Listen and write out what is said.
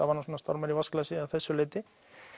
var nú svona stormur í vatnsglasi að þessu leyti